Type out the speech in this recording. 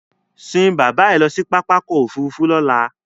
Sín bàbá ẹ lọ sí pápákọ̀ òfurufú lọ́là!